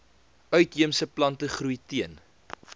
uitheemse plantegroei teen